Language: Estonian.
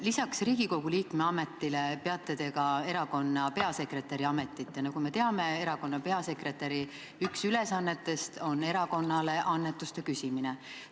Lisaks Riigikogu liikme ametile peate te ka erakonna peasekretäri ametit ja nagu me teame, on erakonna peasekretäri üks ülesannetest erakonnale annetuste küsimine.